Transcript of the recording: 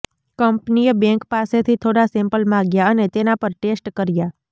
કંપનીએ બેન્ક પાસેથી થોડા સેમ્પલ માંગ્યા અને તેના પર ટેસ્ટ કર્યા